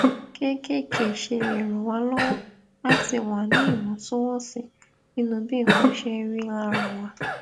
kéékèèké ṣe lè ràn wá lówó láti wà ní ìwòntúnwònsì nínú bí nǹkan ṣe ń rí lára wa